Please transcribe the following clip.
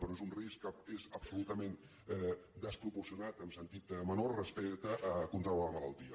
però és un risc que és absolutament desproporcionat en sentit menor respecte a contraure la malaltia